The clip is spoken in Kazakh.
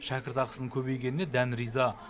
шәкіртақысының көбейгеніне дән риза